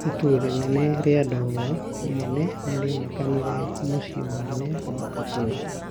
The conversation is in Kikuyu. Itu rĩnene rĩa ndogo nene nĩrĩionekanire na kũonekana mũcii mũnene wa Kabul.